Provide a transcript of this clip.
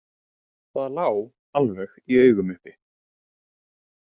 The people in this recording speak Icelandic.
Það lá alveg í augum uppi.